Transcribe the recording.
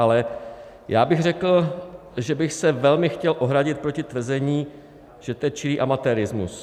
Ale já bych řekl, že bych se velmi chtěl ohradit proti tvrzení, že to je čirý amatérismus.